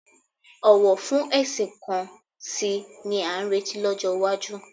Ọ̀wọ̀ fún ẹ̀sìn kan sí i ni a ń retí lọ́jọ́ iwájú